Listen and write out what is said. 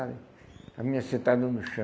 A menina sentada no chão.